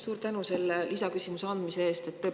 Suur tänu selle lisaküsimuse andmise eest!